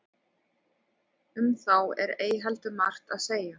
um þá er ei heldur margt að segja